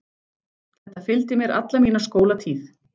Þetta fylgdi mér alla mína skólatíð.